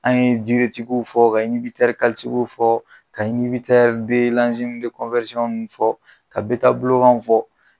An ye tigiw fɔ ka tigiw fɔ ka nunnu fɔ ka bɛɛ ta buloganw fɔ.